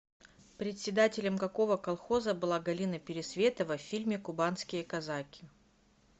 председателем какого колхоза была галина пересветова в фильме кубанские казаки